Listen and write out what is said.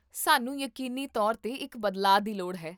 ਸਾਨੂੰ ਯਕੀਨੀ ਤੌਰ 'ਤੇ ਇੱਕ ਬਦਲਾਅ ਦੀ ਲੋੜ ਹੈ